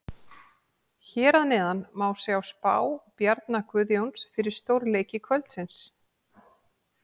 Hér að neðan má sjá spá Bjarna Guðjóns fyrir stórleiki kvöldsins.